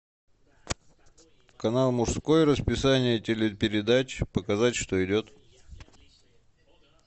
канал мужской расписание телепередач показать что идет